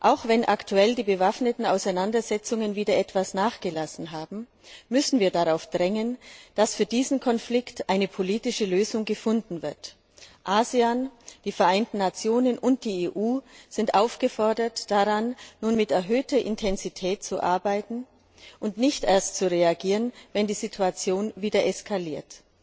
Auch wenn aktuell die bewaffneten Auseinandersetzungen wieder etwas nachgelassen haben, müssen wir darauf drängen, dass für diesen Konflikt eine politische Lösung gefunden wird. ASEAN, die Vereinten Nation und die EU sind aufgefordert, daran nun mit erhöhter Intensität zu arbeiten und nicht erst zu reagieren, wenn die Situation wieder eskaliert.